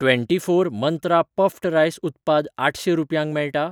Twenty four Mantra puffed rice उत्पाद आठशें रुपयांक मेळटा?